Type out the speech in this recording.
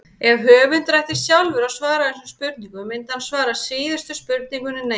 Ef höfundur ætti sjálfur að svara þessum spurningum myndi hann svara síðustu spurningunni neitandi.